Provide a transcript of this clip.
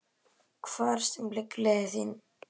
Hvar sem liggur leiðin þín.